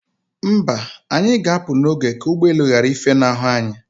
Mba, anyi ga apụ n'oge ka ụgbọelu ghara ifenahu anyị